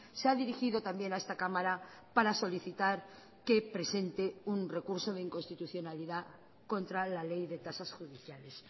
se ha dirigido también a esta cámara para solicitar que presente un recurso de inconstitucionalidad contra la ley de tasas judiciales